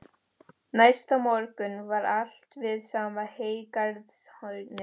Næsta morgun var allt við sama heygarðshornið.